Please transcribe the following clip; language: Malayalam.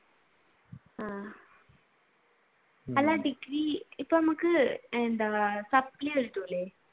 ആഹ് അല്ല ഡിഗ്രി ഇപ്പൊ നമുക്ക് എന്താ സപ്ലൈ കിട്ടൂലെ?